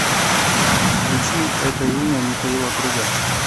включи это имя михаила круга